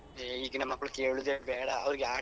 ಆ ಈಗಿನ ಮಕ್ಳು ಕೇಳುದೇ ಬೇಡ ಅವ್ರಿಗೆ ಆಟ.